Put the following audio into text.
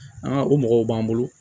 o mɔgɔw b'an bolo